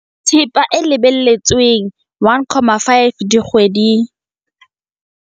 Thepa e lebelletsweng, ±1,5 dikgwedi, tone.